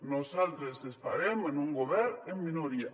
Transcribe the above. nosaltres estarem en un govern en minoria